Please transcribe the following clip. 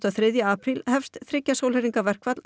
og þriðji apríl hefst þriggja sólarhringa verkfall